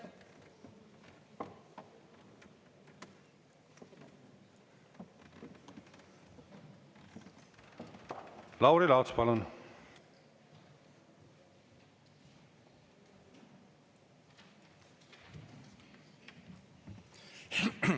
Lauri Laats, palun!